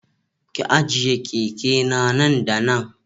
Ki ajiye keke na nan da nan